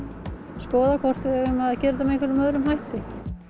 skoða hvort við eigum að gera þetta með einhverjum öðrum hætti